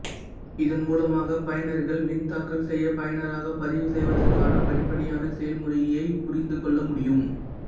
இதன் மூலமாக பயனர்கள் மின்தாக்கல் செய்ய பயனராக பதிவு செய்வதற்கான படிப்படியான செயல்முறையைப் புரிந்துகொள்ள முடியும்